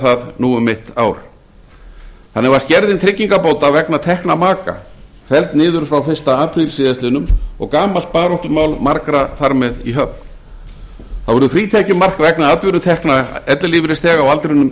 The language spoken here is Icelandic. það nú um mitt ár þannig var skerðing tryggingabóta vegna tekna maka felld niður frá fyrsta apríl síðastliðinn og gamalt baráttumál margra þar með í höfn þá var frítekjumark vegna atvinnutekna ellilífeyrisþega á aldrinum